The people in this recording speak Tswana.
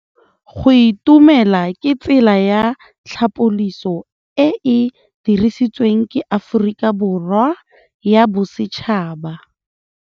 Go itumela ke tsela ya tlhapolisô e e dirisitsweng ke Aforika Borwa ya Bosetšhaba.